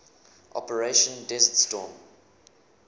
operation desert storm